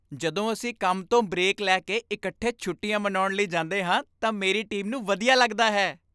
ਜਦੋਂ ਅਸੀਂ ਕੰਮ ਤੋਂ ਬ੍ਰੇਕ ਲੈ ਕੇ ਇਕੱਠੇ ਛੁੱਟੀਆਂ ਮਨਾਉਣ ਲਈ ਜਾਂਦੇ ਹਾਂ ਤਾਂ ਮੇਰੀ ਟੀਮ ਨੂੰ ਵਧੀਆ ਲੱਗਦਾ ਹੈ।